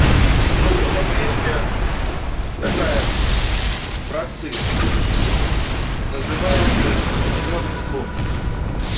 ну вот а песня такая про цирк называется зелёный слоник